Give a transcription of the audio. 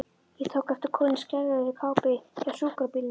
Ég tók eftir konu í skærrauðri kápu hjá sjúkrabílnum.